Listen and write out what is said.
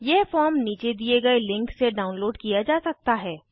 यह फॉर्म नीचे दिए गए लिंक से डाउनलोड किया जा सकता है